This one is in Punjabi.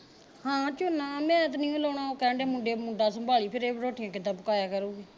ਹਾਂ ਝੋਨਾ ਮੈਂ ਤੇ ਨੀ ਓ ਲਾਉਣਾ ਉਹ ਕਹਿਣ ਦਏ ਮੁੰਡੇ ਮੁੰਡਾ ਸੰਭਾਲੀ ਫਿਰੇ ਰੋਟੀਆਂ ਕਿੱਦਾਂ ਪਕਾਇਆ ਕਰੂੰਗੀ